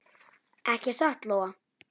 Ekki satt Lóa?